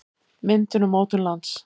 myndun og mótun lands